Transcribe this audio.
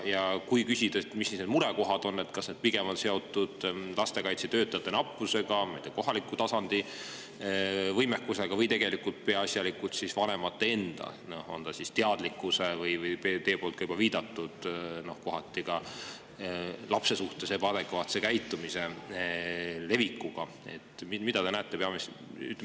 Ja küsin, mis need murekohad on: kas need on pigem seotud lastekaitsetöötajate nappusega, kohaliku tasandi võimekusega, peaasjalikult vanemate enda teadlikkuse või kohati ka lapse suhtes ebaadekvaatse käitumise levikuga, nagu te olete juba viidanud?